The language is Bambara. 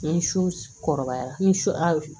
N su kɔrɔbayara n ye su hali